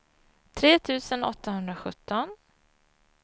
tre tusen åttahundrasjutton